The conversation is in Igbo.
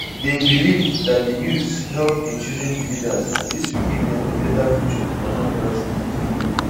They believed that the youths help in choosing the leaders, and this will give them a better future in Anambra State